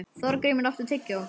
Þorgrímur, áttu tyggjó?